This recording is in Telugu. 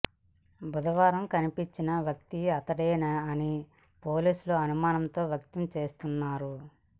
బుధవారం కనిపించిన వ్యక్తి అతడేనా అని పోలీసులు అనుమానం వ్యక్తం చేస్తున్నారు